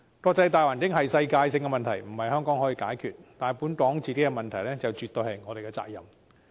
國際大環境是世界性問題，不是香港可以解決的，但本港的問題絕對是我們的責任。